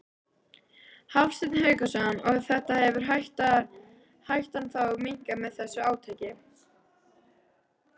Hafsteinn Hauksson: Og hefur hættan þá minnkað með þessu átaki?